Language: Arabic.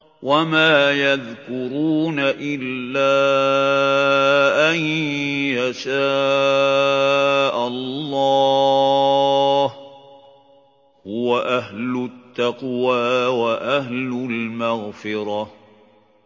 وَمَا يَذْكُرُونَ إِلَّا أَن يَشَاءَ اللَّهُ ۚ هُوَ أَهْلُ التَّقْوَىٰ وَأَهْلُ الْمَغْفِرَةِ